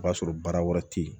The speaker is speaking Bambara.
O b'a sɔrɔ baara wɛrɛ tɛ ye